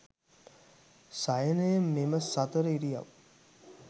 සයනය මෙම සතර ඉරියව්